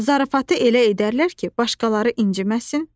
Zarafatı elə edərlər ki, başqaları inciməsin?